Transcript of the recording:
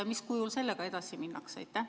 Mis kujul sellega edasi minnakse?